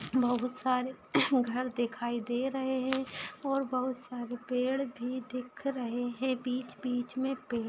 बहुत सारे घर दिखाई दे रहे हैं और बहुत सारे पेड़ भी दिख रहे हैं बीच-बीच में पेड़ --